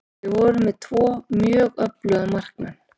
Við vorum með tvo mjög öfluga markmenn.